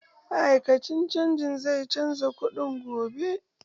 Ma'aikacin bankin zai canza kuɗin gobe.